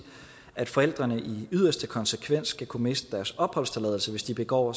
at forældrene i yderste konsekvens skal kunne miste deres opholdstilladelse hvis de begår